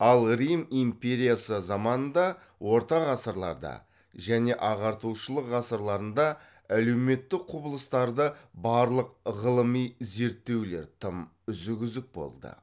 ал рим империясы заманында орта ғасырларда және ағартушылық ғасырларында әлеуметтік құбылыстарды барлық ғылыми зерттеулер тым үзік үзік болды